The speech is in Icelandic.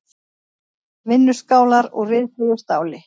Vinnuskálar úr ryðfríu stáli.